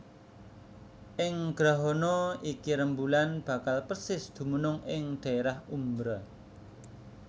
Ing grahana iki rembulan bakal persis dumunung ing dhaérah umbra